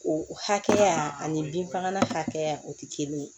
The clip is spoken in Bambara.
O hakɛya ani bin fagalan hakɛya o tɛ kelen ye